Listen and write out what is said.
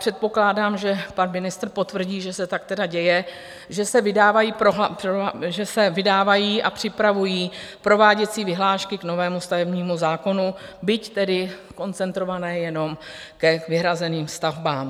Předpokládám, že pan ministr potvrdí, že se tak tedy děje, že se vydávají a připravují prováděcí vyhlášky k novému stavebnímu zákonu, byť tedy koncentrované jenom k vyhrazeným stavbám.